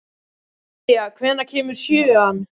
Kaía, hvenær kemur sjöan?